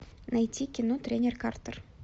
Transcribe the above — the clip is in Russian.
найти кино тренер картер